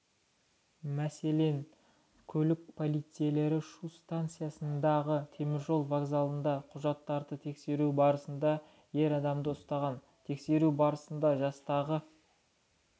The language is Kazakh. мәселен көлік полицейлері шу стансасындағы теміржол вокзалында құжаттарды тексеру барысында ер адамды ұстаған тексеру барысында жастағы